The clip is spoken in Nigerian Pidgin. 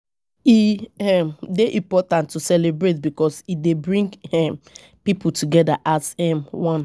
E um dey important to celebrate because e dey bring um pipo together as um one